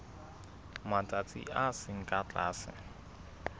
matsatsi a seng ka tlase